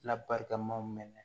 Labarikamaw mɛn